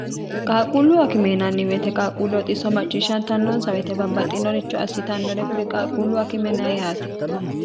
qaaquullu akimeenanni weyite qaaqquullu oxisso macciishshantannonsa woyite babbaxxinoricho assitannore kuri qaaquullu akimena yaati